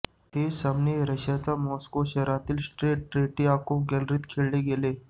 हे सामने रशियाच्या मॉस्को शहरातील स्ट्रेट ट्रेटीअकोव गॅलरीत खेळवले गेले